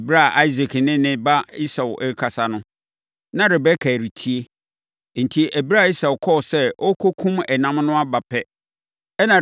Ɛberɛ a Isak ne ne ba Esau rekasa no, na Rebeka retie. Enti, ɛberɛ a Esau kɔɔ sɛ ɔrekɔkum ɛnam no aba pɛ, ɛnna